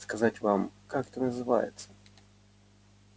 сказать вам как это называется